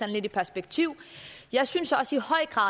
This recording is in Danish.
lidt i perspektiv jeg synes også